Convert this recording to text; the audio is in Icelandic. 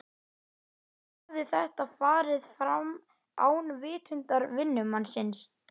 Allt hafði þetta farið fram án vitundar vinnumannsins.